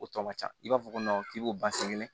O tɔ ka ca i b'a fɔ ko k'i b'o ban sɛgɛ kɛnɛ